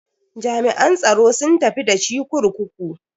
Jami'an tsaron sun tafi da shi kurkuku.